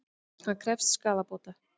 Hann krefst skaðabóta